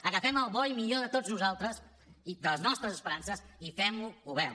agafem el bo i millor de tots nosaltres de les nostres esperances i fem govern